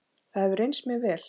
Það hefur reynst mér vel.